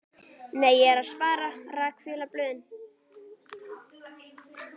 Nei, ég er að spara. rakvélarblöðin.